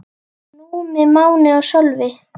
Númi, Máni og Sölvi.